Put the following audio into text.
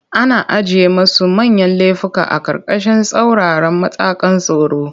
Ana ajiye masu manyan lefuka a ƙarƙashin tsauraran matakan tsaro.